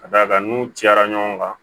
Ka d'a kan n'u cayara ɲɔgɔn kan